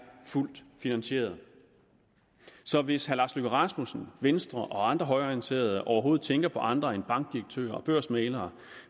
fuldt finansieret så hvis herre lars løkke rasmussen venstre og andre højreorienterede overhovedet tænker på andre end bankdirektører og børsmæglere